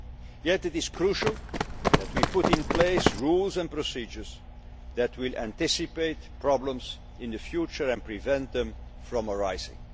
cement. Yet it is crucial that we put in place rules and procedures that will anticipate problems in the future and prevent them from